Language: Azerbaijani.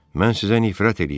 Mən sizə nifrət eləyirəm.